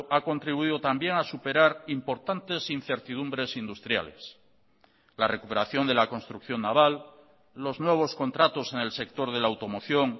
ha contribuido también a superar importantes incertidumbres industriales la recuperación de la construcción naval los nuevos contratos en el sector de la automoción